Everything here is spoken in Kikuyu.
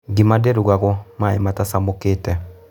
Ngima ndĩrugago maĩ matacemũkĩte.